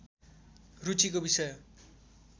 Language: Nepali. रुचिको विषय